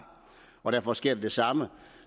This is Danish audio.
og derfor sker der det samme